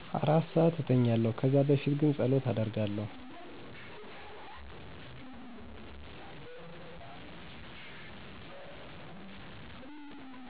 4 ሰዓት እተኛለሁ ከዛ በፊት ግን ፀሎት አደርጋለሁ።